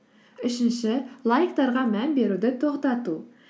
үшінші лайктарға мән беруді тоқтату